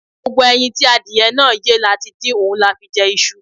Gbogbo ẹyin tí adìyẹ náà yé la ti dín, òun la fi jẹ iṣu.